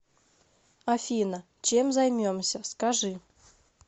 афина чем займемся скажи